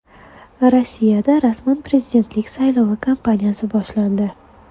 Rossiyada rasman prezidentlik saylovi kampaniyasi boshlandi.